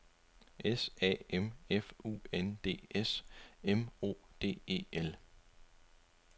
S A M F U N D S M O D E L